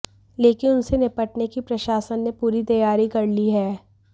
लेकिन उनसे निपटने की प्रशासन ने पूरी तैयारी कर ली है